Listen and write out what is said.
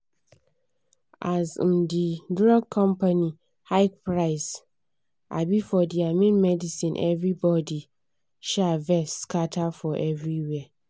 as um the drug company hike price um for thier main medicineeverybody um vex scatter for everywhere.